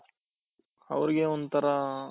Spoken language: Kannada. ಅವ್ರಿಗೆ ಒಂಥರಾ